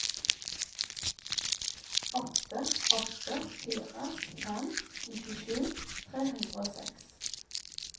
åtte åtte fire fem nittisju tre hundre og seks